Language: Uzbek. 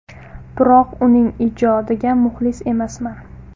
Biroq uning ijodiga muxlis emasman”.